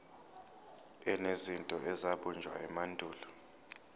enezinto ezabunjwa emandulo